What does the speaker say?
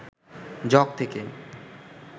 jug থেকে